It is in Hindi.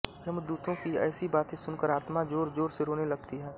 यमदूतों की ऐसी बातें सुनकर आत्मा जोरजोर से रोने लगती है